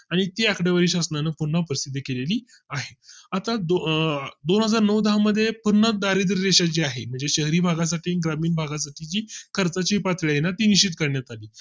आणि ती आकडेवारी शासनाने पुन्हा उपस्थिती केली आहे अं दोन हजार नऊ दहा आत मध्ये पूर्ण दारिद्र रेषा ची आहे शहरी भागा साठी ग्रामीण भागात साठी जी खर्चाची पातळी निश्चित करण्यात आली